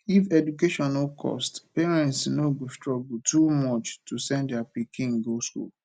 if education no cost parents no go struggle too much to send their pikin go school